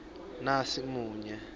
nasimunye